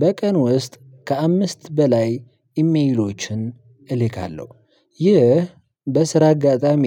በቀን ውስጥ ከአምስት በላይ ኢሜሎችን እልካለሁ። ይህ በስራ አጋጣሚ